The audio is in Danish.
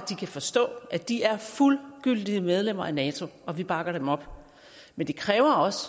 de kan forstå at de er fuldgyldige medlemmer af nato og at vi bakker dem op men det kræver også